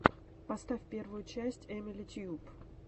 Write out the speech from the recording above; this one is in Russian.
поставь первую часть эмили тьюб